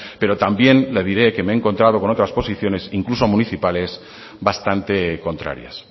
pero también le diré que me he encontrado con otras posiciones incluso municipales bastante contrarias